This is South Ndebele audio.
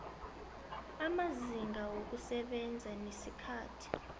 amazinga wokusebenza nesikhathi